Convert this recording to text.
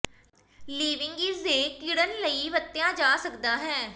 ਿਲਵਿੰਗ ਇਸ ਦੇ ਿਕੜਨ ਲਈ ਵਰਤਿਆ ਜਾ ਸਕਦਾ ਹੈ